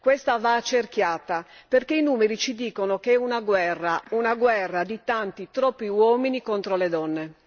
Questa va accerchiata, perché i numeri ci dicono che è una guerra una guerra di tanti, troppi uomini contro le donne.